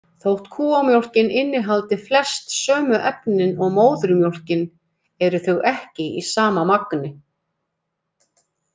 Þótt kúamjólkin innihaldi flest sömu efnin og móðurmjólkin eru þau ekki í sama magni.